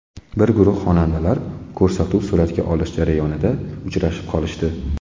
Bir guruh xonandalar ko‘rsatuv suratga olish jarayonida uchrashib qolishdi.